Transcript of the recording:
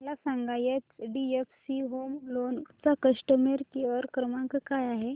मला सांगा HDFC home loan चा कस्टमर केअर क्रमांक काय आहे